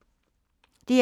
DR2